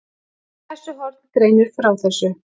Skessuhorn greinir frá þessu